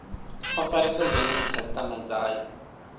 o farisa zwone dzikhasitama dzayo